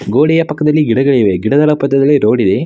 ಗೋಡೆಯ ಪಕ್ಕದಲ್ಲಿ ಗಿಡಗಳಿವೆ ಗಿಡದ ಪಕ್ಕದಲ್ಲಿ ರೋಡ್ ಇದೆ.